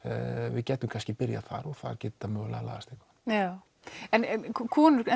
við gætum kannski byrjað þar og þar mögulega lagast eitthvað já en konur